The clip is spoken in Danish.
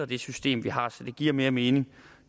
det system vi har så det give mere mening